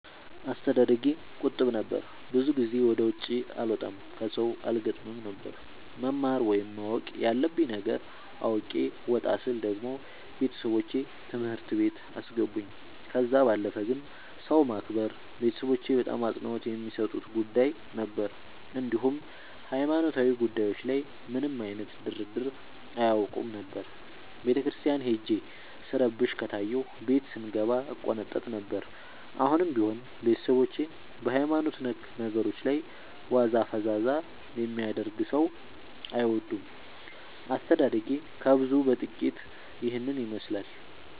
አስተዳደጌ ቁጥብ ነበር። ብዙ ጊዜ ወደ ውጪ አልወጣም ከሠው አልገጥምም ነበር። መማር ወይም ማወቅ ያለብኝ ነገር አውቄ ወጣ ስል ደግሞ ቤተሠቦቼ ትምህርት ቤት አስገቡኝ። ከዛ ባለፈ ግን ሰው ማክበር ቤተሠቦቼ በጣም አፅንኦት የሚሠጡት ጉዳይ ነበር። እንዲሁም ሀይማኖታዊ ጉዳዮች ላይ ምንም አይነት ድርድር አያውቁም ነበር። ቤተክርስቲያን ሄጄ ስረብሽ ከታየሁ ቤት ስንገባ እቆነጠጥ ነበር። አሁንም ቢሆን ቤተሠቦቼ በሀይማኖት ነክ ነገሮች ላይ ዋዛ ፈዛዛ የሚያደርግ ሠው አይወዱም። አስተዳደጌ ከብዙው በጥቂቱ ይህን ይመሥላል።